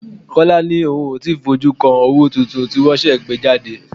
Kọ́lá ni òun ó ti fojú kan owó tuntun tí wọn ṣẹ̀ṣẹ̀ gbé jáde.